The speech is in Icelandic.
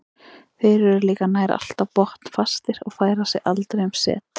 Þeir eru líka nær alltaf botnfastir og færa sig aldrei um set.